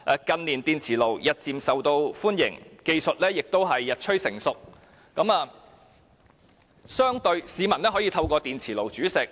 近年，電磁爐日漸受歡迎，技術亦日趨成熟，市民可以利用電磁爐煮食。